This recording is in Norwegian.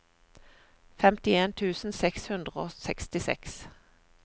femtien tusen seks hundre og sekstiseks